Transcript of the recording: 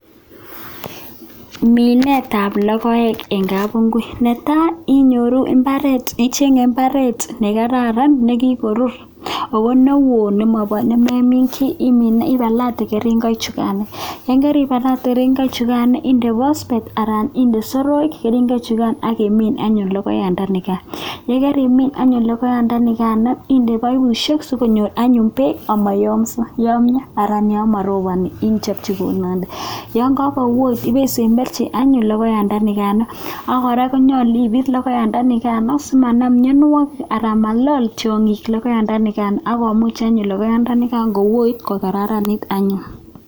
minet ap lokoek ing kapingui netai ichenge mbaret nekararan nekikorur nepale keringet inde pospet akinde soroek akimin anyun lokoek kokaimin lokoek inde pipit sokonyor peko simayamya yo maropani ngochun isemberchi ako yache kora ipit simanam korotwek ak tiangik ako eet.